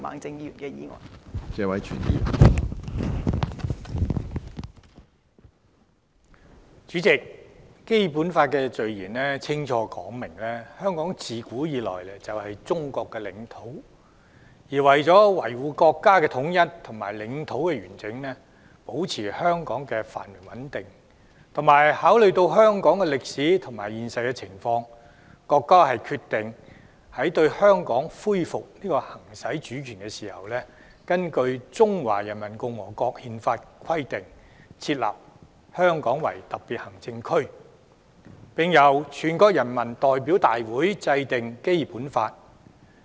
主席，《基本法》的序言清楚說明，香港自古以來就是中國的領土，而為了維護國家統一和領土完整，保持香港的繁榮和穩定，並考慮到香港的歷史和現實情況，國家決定，在對香港恢復行使主權時，根據《中華人民共和國憲法》的規定，設立香港特別行政區，並由全國人民代表大會制定《基本法》。